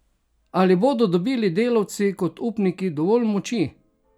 Ali bodo dobili delavci kot upniki dovolj moči?